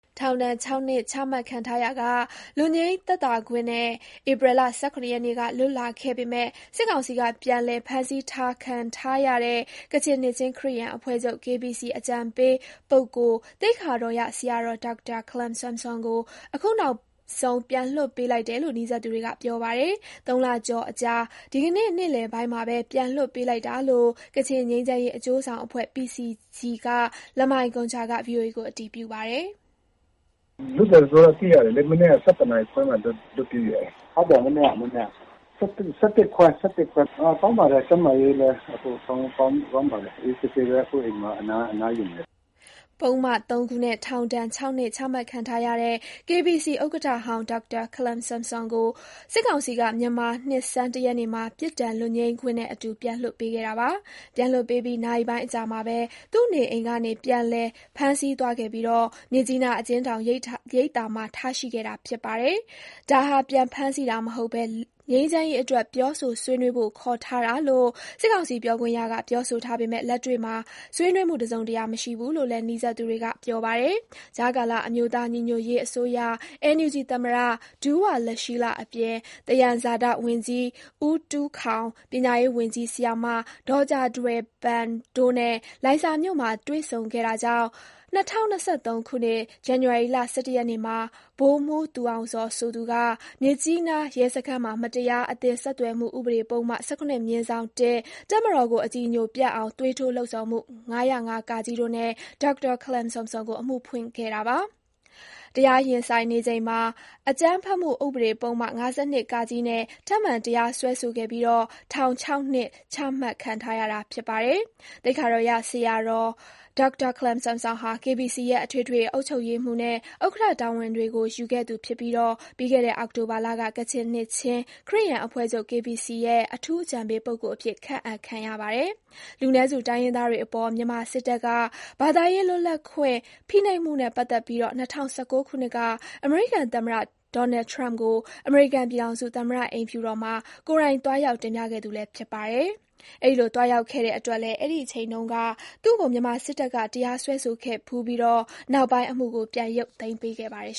ထောင်ဒဏ် ၆ နှစ်ချမှတ်ခံထားရာက လွတ်ငြိမ်းသက်သာခွင့်နဲ့ ဧပြီ ၁၇ ရက်က လွတ်လာခဲ့ပေမဲ့ စစ်ကောင်စီက ပြန်လည်ဖမ်းဆီးထားခံထားရတဲ့ ကချင်နှစ်ခြင်းခရစ်ယာန်အဖွဲ့ချုပ် အကြံပေး ပုဂ္ဂိုလ် သိက္ခာတော်ရဆရာတော် ဒေါက်တာ ခလမ်ဆမ်ဆွမ်ကို အခုနောက်ဆုံး ပြန်လွှတ်ပေးလိုက်တယ်လို့ နီးစပ်သူတွေက ပြောပါတယ်။ ၃ လကျော်အကြာ ဒီကနေ့နေ့လည်ပိုင်းမှာပဲ ပြန်လွှတ်ပေးလိုက်တာလို့ ကချင်ငြိမ်းချမ်းရေးအကျိုးဆောင် အဖွဲ့ PCG က လမိုင်ဂွန်ဂျာက ဗွီအိုအေကို အတည်ပြုပါတယ်။ "လွတ်တယ်ဆိုတာသိရတယ်လေ။ မနက် ၁၁ခွဲမှာလွတ်ပေးတယ်။ဟုတ်တယ် ဒီမနက်ပေါ့။ ၁၁ခွဲ ၁၁ခွဲ လောက်ကပေါ့။ ကောင်းပါတယ်။ ကျန်းမာရေးလည်းကောင်းပါတယ်။ အခုတော့အိမ်မှာနားနေပါတယ်။" ပုဒ်မ ၃ ခုနဲ့ထောင်ဒဏ် ၆နှစ် ချမှတ်ထားခံထားရတဲ့ KBC ဥက္ကဋ္ဌဟောင်း ဒေါက်တာ ခလမ်ဆမ်ဆွမ်ကို စစ်ကောင်စီက မြန်မာနှစ်ဆန်း ၁ ရက်နေ့မှာ ပြစ်ဒဏ် လွတ်ငြိမ်းခွင့်နဲ့အတူ ပြန်လွှတ်ပေးခဲ့တာပါ။ ပြန်လွှတ်ပေးပြီး နာရီပိုင်းအကြာမှာဘဲ သူ့နေအိမ်ကနေ ပြန်လည်ဖမ်းဆီးသွားခဲ့ပြီး မြစ်ကြီးနားအကျဉ်းထောင် ရိပ်သာမှာ ထားရှိခဲ့တာဖြစ်ပါတယ်။ ဒါဟာ ပြန်ဖမ်းဆီးတာမဟုတ်ဘဲ ငြိမ်းချမ်းရေးအတွက် ပြောဆိုဆွေးနွေးဖို့ ခေါ်ထားတာလို့ စစ်ကောင်စီပြောခွင့်ရက ပြောဆိုထားပေမဲ့ လက်တွေ့မှာ ဆွေးနွေးမှု တစုံတရာ မရှိဘူးလို့လည်း နီးစပ်သူတွေက ပြောပါတယ်။ ကြားကာလ အမျိုးသားညီညွတ်ရေးအစိုးရ NUG သမ္မတ ဒူးဝါလရှီးလ အပြင် သယံဇာတ ဝန်ကြီး ဦးတူးခေါင်၊ ပညာရေးဝန်ကြီး ဆရာမ ဒေါ်ဂျာထွယ်ပန် တို့နဲ့ လိုင်ဇာမြို့မှာတွေ့ဆုံခဲ့တာ ကြောင့် ၂၀၂၃ ဇန်နဝါရီ ၁၁ ရက်မှာ ဗိုလ်မှူး သူအောင်ဇော်ဆိုသူက မြစ်ကြီးနား ရဲစခန်းမှာ မတရား အသင်း ဆက် သွယ်မှုဥပဒေပုဒ်မ ၁၇/၁၊ တပ်မတော်ကိုအကြည်ညိုပျက်အောင် သွေးထိုးလှုံ့ဆော်မှု ၅၀၅ တို့နဲ့ ဒေါက်တာခလမ်ဆမ်ဆွမ်ကို အမှုဖွင့်ခဲ့ပါတယ်။ တရားရင်ဆိုင်နေချိန်မှာ အကြမ်းဖက်မှု ဥပဒေ ပုဒ်မ ၅၂ နဲ့ ထပ်မံတရားစွဲဆိုခဲ့ပြီး ထောင် ၆နှစ် ချမှတ်ခဲ့တာ ဖြစ်ပါတယ်။ သိက္ခာတော်ရဆရာ ဒေါက်တာခလမ်ဆမ်ဆွမ်ဟာ KBC ရဲ့ အထွေထွေအတွင်းရေးမှုးချုပ်နဲ့ ဥက္ကဋ္ဌ တာဝန်တွေကို ယူခဲ့သူဖြစ်ပြီး၊ ပြီးခဲ့တဲ့ အောက်တိုဘာလက ကချင်နှစ်ခြင်း ခရစ်ယာန်အဖွဲ့ချုပ် "KBC ရဲ့ အထူးအကြံပေးပုဂ္ဂိုလ် " အဖြစ် ခန့်အပ်ခံရပါတယ်။ လူနည်းစုတိုင်းရင်းသားတွေအပေါ် မြန်မာစစ်တပ်က ဘာသာရေးလွတ်လပ်ခွင့် ဖိနှိပ်မှုနဲ့ ပတ်သက်ပြီး ၂၀၁၉ ခုနှစ်က အမေရိကန်သမ္မတ Donald Trump ကို အမေရိကန်ပြည်ထောင်စု၊ သမ္မတအိမ်ဖြူ တော်မှာ ကိုယ်တိုင်သွားရောက် တင်ပြခဲ့သူလည်း ဖြစ်ပါတယ်။ အဲဒီလို သွားရောက်ခဲ့တဲ့အတွက်လည်း အဲဒီအချိန်တုန်းက သူ့ကို မြန်မာစစ်တပ်က တရားစွဲဆိုခဲ့ဖူးပြီး နောက်ပိုင်း အမှုကို ပြန်ရုပ်သိမ်းပေး ခဲ့ပါတယ်